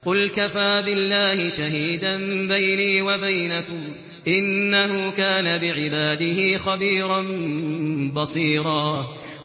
قُلْ كَفَىٰ بِاللَّهِ شَهِيدًا بَيْنِي وَبَيْنَكُمْ ۚ إِنَّهُ كَانَ بِعِبَادِهِ خَبِيرًا بَصِيرًا